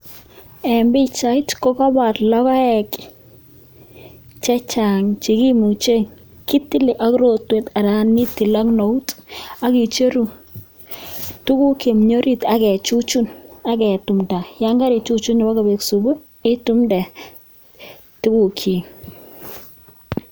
En pichait kokoibor logoek chechang che kimuche ketil ak rotwet anan ko eut, ak icheru tuguuk chemi orit ak kechuchun. Ak ketumdaa, yan kakechuchun ibokobek subuu itumdee tuguk chik